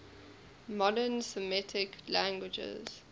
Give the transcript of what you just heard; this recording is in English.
modern semitic languages